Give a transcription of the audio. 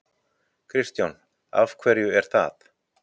Kristján: Af hverju er það?